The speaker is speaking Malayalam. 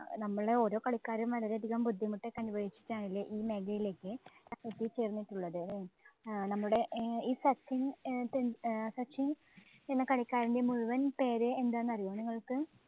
നമ്മടെ ഓരോ കളിക്കാരും വളരെയധികം ബുദ്ധിമുട്ട് ഒക്കെ അനുഭവിച്ചിട്ടാണ് അല്ലേ ഈ മേഖലയിലേക്ക് എത്തി ചേര്‍ന്നിട്ടുള്ളത്. ആഹ് നമ്മുടെ ഈ സച്ചിന്‍ ടെന്‍~ ഈ സച്ചിന്‍ എന്ന കളിക്കാരന്‍റെ മുഴുവന്‍ പേര് എന്താന്നറിയുവോ നിങ്ങള്‍ക്ക്.